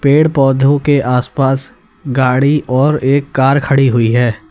पेड़ पौधों के आसपास गाड़ी और एक कार खड़ी हुई है।